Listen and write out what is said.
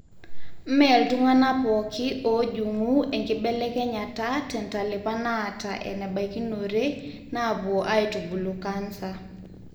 mme iltung'anak pooki oojung'u enkibelekenyata tentalipa naata enebaikinore naapuo aitubulu cancer.